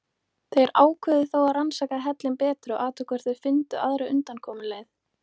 Þeir ákváðu þó að rannsaka hellinn betur og athuga hvort þeir fyndu aðra undankomuleið.